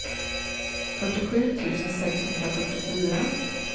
fyrtiosju tusen sexhundrafyrtiofyra